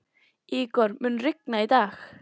Ígor, mun rigna í dag?